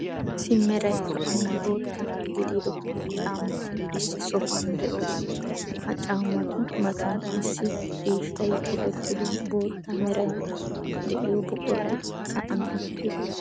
Issi meray zo"onne bootta gidida caammati issi sohuwan de'oosona. Ha caammatu matan issi ciishshay tokkettido bootta meray de'iyo buquray sa'an uttiis.